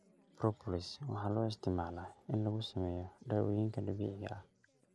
Propolis waxaa loo isticmaalaa in lagu sameeyo dawooyinka dabiiciga ah.